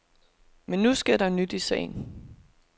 Men nu sker der nyt i sagen.